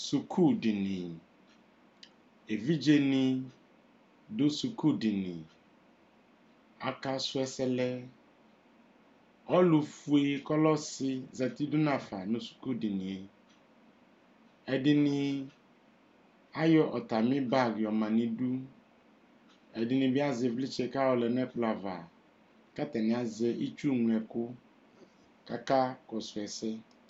Suku dini evidze ni dʋ Suku diniaka sʋ ɛsɛ lɛ ɔlufue kʋ ɔlɛ ɔsi , zati dʋ nu afa nʋ suku dini yɛɛdi ni ayɔ atami bag yɔma nʋ idu ɛdini bi azɛ ivlitsɛ kʋ ayɔ lɛ nʋ ɛkplɔ'avaku atani azɛ itsu ŋlɔ ɛkʋ kʋ akakɔsʋ ɛsɛ